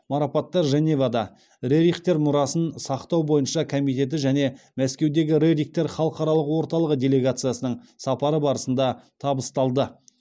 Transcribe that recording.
марапаттар женевада рерихтер мұрасын сақтау бойынша комитеті және мәскеудегі рерихтер халықаралық орталығы делегациясының сапары барысында табысталды